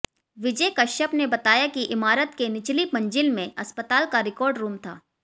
विजय कश्यप ने बताया कि इमारत के निचली मंजिल में अस्पताल का रिकार्ड रूम था